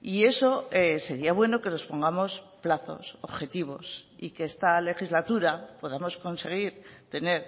y eso sería bueno que nos pongamos plazos objetivos y que esta legislatura podamos conseguir tener